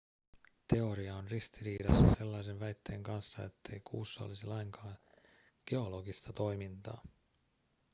teoria on ristiriidassa sellaisen väitteen kanssa ettei kuussa olisi lainkaan geologista toimintaa